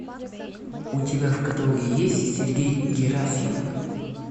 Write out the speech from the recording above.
у тебя в каталоге есть сергей герасимов